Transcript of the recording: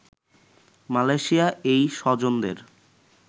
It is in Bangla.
মালয়েশিয়া এই স্বজনদের